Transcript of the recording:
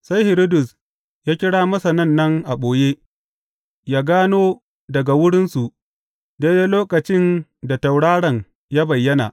Sai Hiridus ya kira Masanan nan a ɓoye, yă gano daga wurinsu daidai lokacin da tauraron ya bayyana.